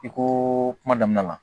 I ko kuma daminɛ la